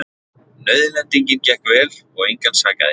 Nauðlendingin gekk vel og engan sakaði